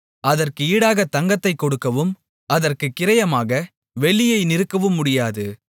அதற்கு ஈடாகத் தங்கத்தைக் கொடுக்கவும் அதற்குக் கிரயமாக வெள்ளியை நிறுக்கவும் முடியாது